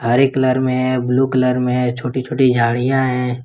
हरे colour में blue colour में छोटी छोटी झाड़ियां है।